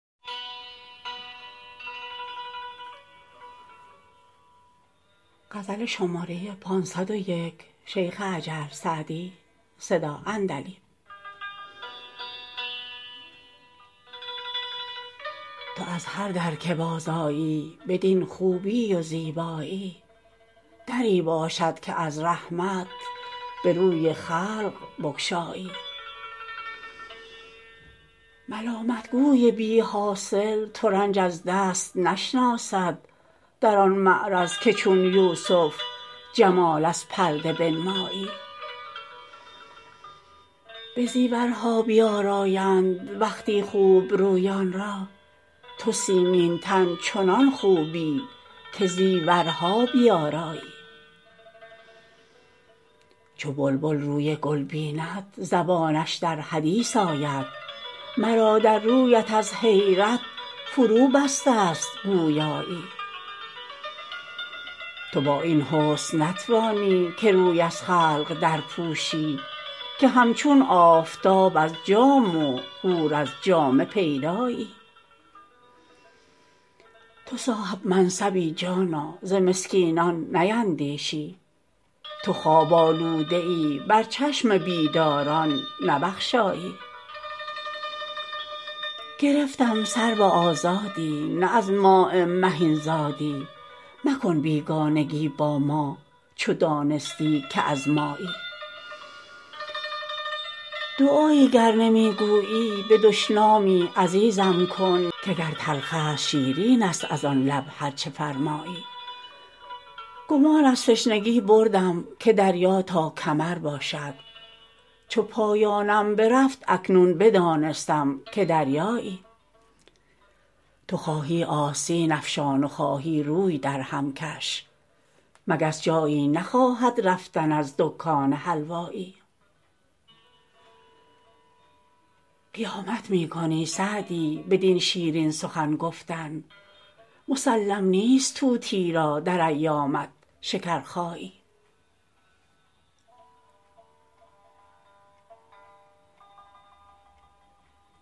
تو از هر در که بازآیی بدین خوبی و زیبایی دری باشد که از رحمت به روی خلق بگشایی ملامت گوی بی حاصل ترنج از دست نشناسد در آن معرض که چون یوسف جمال از پرده بنمایی به زیورها بیآرایند وقتی خوب رویان را تو سیمین تن چنان خوبی که زیورها بیآرایی چو بلبل روی گل بیند زبانش در حدیث آید مرا در رویت از حیرت فروبسته ست گویایی تو با این حسن نتوانی که روی از خلق درپوشی که همچون آفتاب از جام و حور از جامه پیدایی تو صاحب منصبی جانا ز مسکینان نیندیشی تو خواب آلوده ای بر چشم بیداران نبخشایی گرفتم سرو آزادی نه از ماء مهین زادی مکن بیگانگی با ما چو دانستی که از مایی دعایی گر نمی گویی به دشنامی عزیزم کن که گر تلخ است شیرین است از آن لب هر چه فرمایی گمان از تشنگی بردم که دریا تا کمر باشد چو پایانم برفت اکنون بدانستم که دریایی تو خواهی آستین افشان و خواهی روی درهم کش مگس جایی نخواهد رفتن از دکان حلوایی قیامت می کنی سعدی بدین شیرین سخن گفتن مسلم نیست طوطی را در ایامت شکرخایی